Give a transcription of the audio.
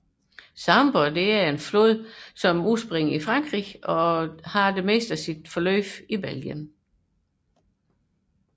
Sambre er en flod der har sit udspring i Frankrig og det meste af sit løb i Belgien